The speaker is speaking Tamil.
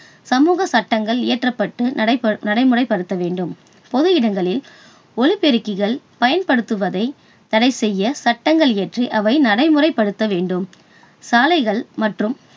சமூக சட்டங்கள் இயற்றப்பட்டு நடைப~நடைமுறைப்படுத்த வேண்டும். பொது இடங்களில் ஒலிபெருக்கிகள் பயன்படுத்துவதை தடை செய்ய சட்டங்கள் இயற்றி அதை நடைமுறைப்படுத்த வேண்டும்.